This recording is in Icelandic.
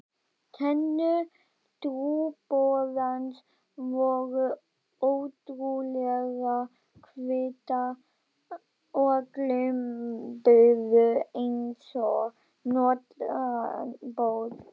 Tennur trúboðans voru ótrúlega hvítar og glömpuðu einsog nótnaborð.